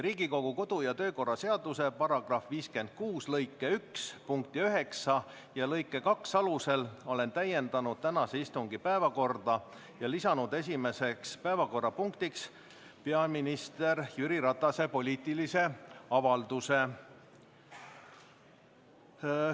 Riigikogu kodu- ja töökorra seaduse § 56 lõike 1 punkti 9 ja lõike 2 alusel olen täiendanud tänase istungi päevakorda ja lisanud esimeseks päevakorrapunktiks peaminister Jüri Ratase poliitilise avalduse.